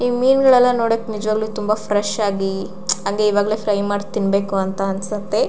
ಈ ಮೀನ್ ಗಳೆನೆಲ್ಲಾ ನೋಡ್ವಾಗ ತುಂಬ ಫ್ರೆಶ್ ಆಗಿ ಅಂದ್ರೆ ಈಗ್ಲೇ ಎಲ್ಲ ಫ್ರೈ ಮಾಡಿ ತಿನ್ನನ ಅನ್ಸತ್ತೆ.